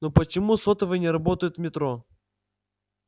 ну почему сотовые не работают в метро